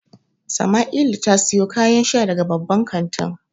Samaila ta siyo kayan sha daga babban kantin.